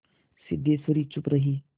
सिद्धेश्वरी चुप रही